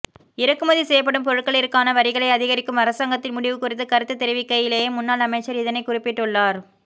இறக்குமதி செய்யப்படும் பொருட்களிற்கான வரிகளை அதிகரிக்கும் அரசாங்கத்தின் முடிவு குறித்து கருத்து தெரிவிக்கையிலேயே முன்னாள் அமைச்சர் இதனை குறிப்பிட்டுள்ளார்